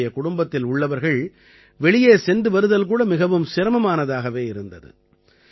இவருடைய குடும்பத்தில் உள்ளவர்கள் வெளியே சென்று வருதல் கூட மிகவும் சிரமமானதாகவே இருந்தது